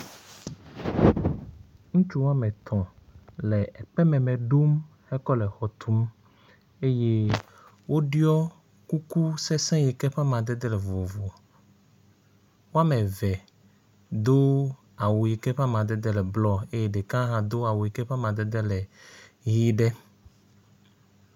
Ŋutsu woametɔ̃ le ekpe mẽmẽ ɖom hekɔ le xɔ tum eye woɖɔi kuku sesiẽ yi ke ƒe amadede vovovo. Woameve do awu yi ke eƒe amadede le blɔ eye ɖeka hã do awu yi ke ƒe amadede le ʋi ɖe.